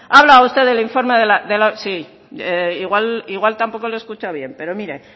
ha hablado usted del informe del sí igual tampoco lo ha escuchado bien pero mire